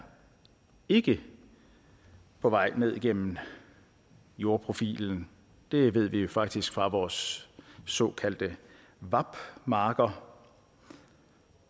ikke på vej ned igennem jordprofilen det ved vi faktisk fra vores såkaldte vap marker